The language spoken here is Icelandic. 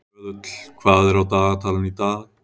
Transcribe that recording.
Röðull, hvað er á dagatalinu í dag?